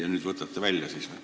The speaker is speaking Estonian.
Kas nüüd võtate selle välja?